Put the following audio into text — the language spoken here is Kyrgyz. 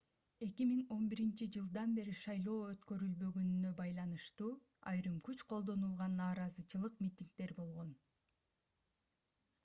2011-жылдан бери шайлоо өткөрүлбөгөнүнө байланыштуу айрым күч колдонулган нараазачылык митингдер болгон